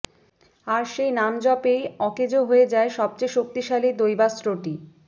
আর সেই নামজপেই অকেজো হয়ে যায় সবচেয়ে শক্তিশালী দৈবাস্ত্রটি